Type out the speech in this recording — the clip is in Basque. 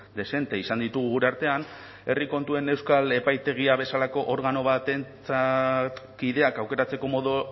dezente izan ditugu gure artean herri kontuen euskal epaitegia bezalako organo batentzat kideak aukeratzeko modu